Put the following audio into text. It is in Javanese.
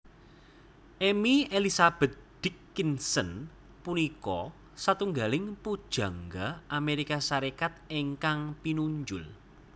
Emily Elizabeth Dickinson punika satunggiling pujangga Amérika Sarékat ingkang pinunjul